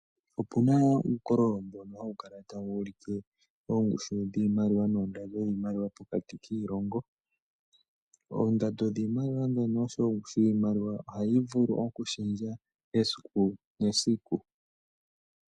Opuna wo uukololo mbono hawu kala tawu ulike ongushu dhiimaliwa noondando dhiimaliwa pokati kiilongo , oondando dhiimaliwa dhono osho wo ongushu dhiimaliwa ohayi vulu oku shendja esiku nesiku.